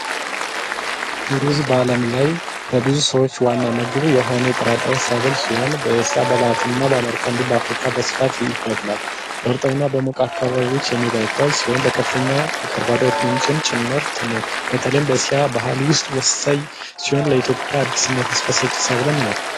ሩዝ በዓለም ላይ ከብዙ ሰዎች ዋና ምግብ የሆነ የጥራጥሬ ሰብል ሲሆን፤ በእስያ፣ በላቲንና አሜሪካ እንዲሁም በአፍሪካ በስፋት ይበቅላል። በእርጥብ እና በሞቅ አካባቢዎች የሚበቅል ሲሆን፤ በከፍተኛ ካርቦሃይድሬት ምንጭም ጭምርት ነው። በተለይም በእስያ ባህል ውስጥ ወሳኝ ሲሆን፤ ለኢትዮጵያ አዲስ እና ተስፋ ሰጪ ሰብልም ነው።